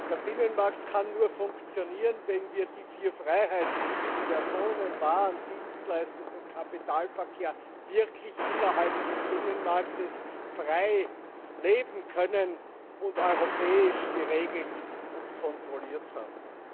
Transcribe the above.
Der Binnenmarkt kann nur funktionieren, wenn wir die vier Freiheiten Personen Waren Dienstleistungs und Kapitalverkehr innerhalb des Binnenmarkts wirklich frei leben können und europäisch geregelt und kontrolliert haben.